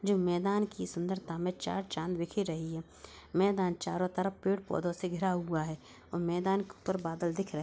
जो मैदान की सुंदरता में चार चांद बिखेर रही है। मैदान चारों तरफ पेड़-पौधों से घिरा हुआ है औ मैदान के ऊपर बादल दिख रहे --